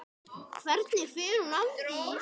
Hvernig fer hún að því?